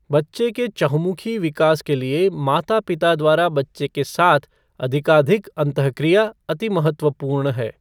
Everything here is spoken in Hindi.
बच्चे के चहुँमुखी विकास के लिए माता पिता द्वारा बच्चे के साथ अधिकाधिक अंतःक्रिया अति महत्वपूर्ण है।